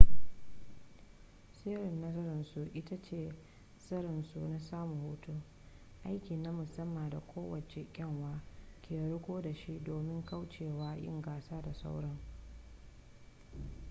sirrin nasararsu ita ce tsarinsu na samun hutu aiki na musamman da kowace kyanwa ke riko da shi domin kaucewa yin gasa da sauran